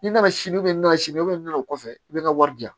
N'i nana sini n'a sini i bɛ nɔnɔ o kɔfɛ i bɛ nɔnɔ wari di yan